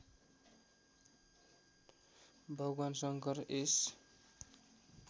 भगवान् शङ्कर यस